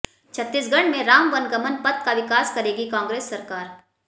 छत्तीसगढ़ में राम वनगमन पथ का विकास करेगी कांग्रेस सरकार